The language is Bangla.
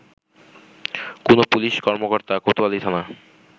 কোনো পুলিশ কর্মকর্তা কোতোয়ালি থানা